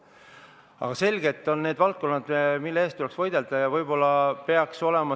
Aga selgelt on need sellised valdkonnad, mille eest tuleks võidelda.